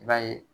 I b'a ye